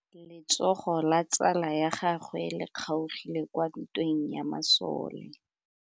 Letsôgô la tsala ya gagwe le kgaogile kwa ntweng ya masole.